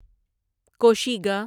کوشیگا